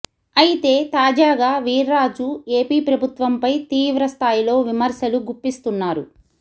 అయితే తాజాగా వీర్రాజు ఎపి ప్రభుత్వంపై తీవ్ర స్థాయిలో విమర్శలు గుప్పిస్తున్నారు